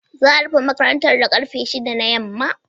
Za a rufe makarantar da karfe shida na yamma.